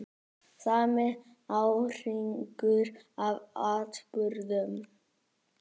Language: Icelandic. Sami árhringur af atburðum.